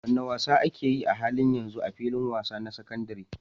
Wane wasa ake yi a halin yanzu a filin wasa na sakandaren?